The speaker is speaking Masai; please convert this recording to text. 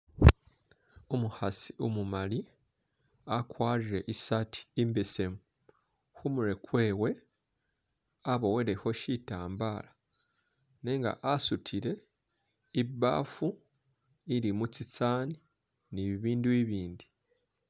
Umukhasi umumali akwarire i'sati imbesemu, khumurwe kwewe abowelekho shitambala nenga asutile ibafu ilimo tsisaani ni bibindu bibindi